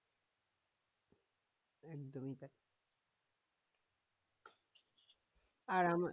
আর আমার